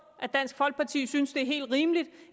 at dansk folkeparti synes det er helt rimeligt